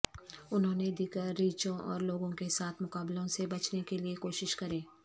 انہوں نے دیگر ریچھوں اور لوگوں کے ساتھ مقابلوں سے بچنے کے لئے کوشش کریں